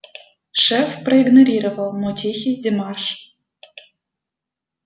шеф проигнорировал мой тихий демарш